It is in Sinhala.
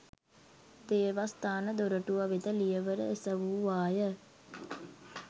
දේවස්ථාන දොරටුව වෙත ලියවර එසැවුවාය